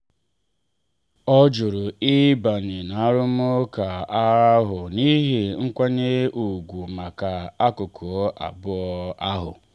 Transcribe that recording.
ọ jụrụ ịbanye na arụmụka ahụ n'ihi nkwanye ùgwù maka akụkụ abụọ ahụ.